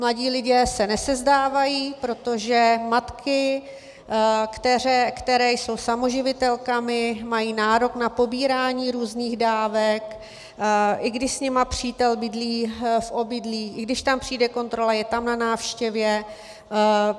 Mladí lidé se nesezdávají, protože matky, které jsou samoživitelkami, mají nárok na pobírání různých dávek, i když s nimi přítel bydlí v obydlí, i když tam přijde kontrola, je tam na návštěvě.